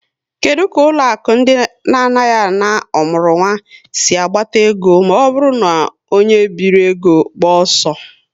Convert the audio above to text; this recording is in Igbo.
Kedụ ka ụlọaku ndị na-anaghị ana ọmụrụnwa sị agbata ego maọbụru na onye bije ego gbaa ọsọ?